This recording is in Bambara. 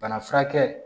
Bana furakɛ